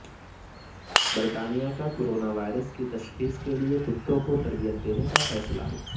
برطانیہ کا کوروناوائرس کی تشخیص کیلئے کتوں کو تربیت دینے کا فیصلہ